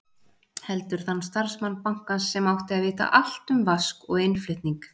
Heldur þann starfsmann bankans sem átti að vita allt um vask og innflutning.